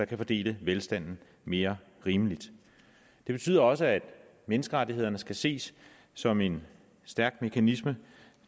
kan fordele velstand mere rimeligt det betyder også at menneskerettighederne skal ses som en stærk mekanisme